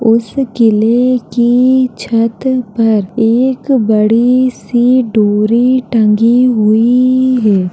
उस किले की छत पर एक बड़ी सी डोरी टंगी हुई है।